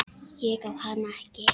Ég á hana ekki.